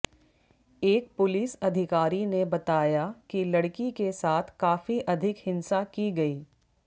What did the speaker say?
एक पुलिस अधिकारी ने बताया कि लड़की के साथ काफी अधिक हिंसा की गई